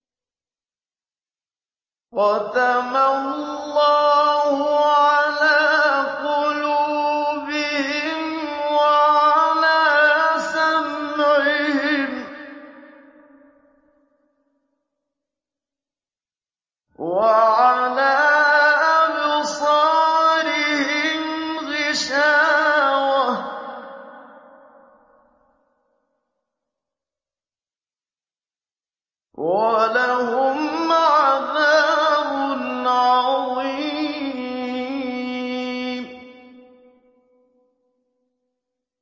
خَتَمَ اللَّهُ عَلَىٰ قُلُوبِهِمْ وَعَلَىٰ سَمْعِهِمْ ۖ وَعَلَىٰ أَبْصَارِهِمْ غِشَاوَةٌ ۖ وَلَهُمْ عَذَابٌ عَظِيمٌ